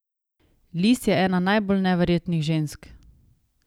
Liz je ena najbolj neverjetnih žensk!